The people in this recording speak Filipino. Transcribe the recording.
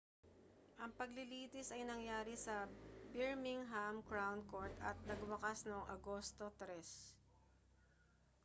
ang paglilitis ay nangyari sa birmingham crown court at nagwakas noong agosto 3